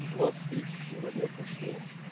двадцать третье февраля прошло